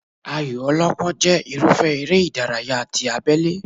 Ayò ọlọ́pọ́n jẹ́ irúfẹ́ eré ìdárayá ti abélé